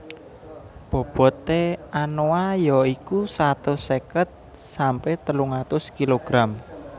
Bobote anoa ya iku satus seket sampe telung atus kilogram